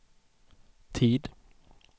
tid